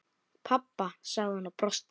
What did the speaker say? Pabba? sagði hún og brosti.